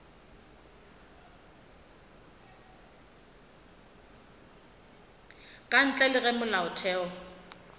ka ntle le ge molaotheo